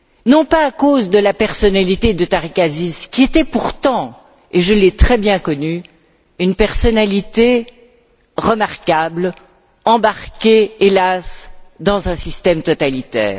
Non pas à cause de la personnalité de Tarek Aziz, qui était pourtant, et je l'ai très bien connu, une personnalité remarquable, embarqué hélas dans un système totalitaire.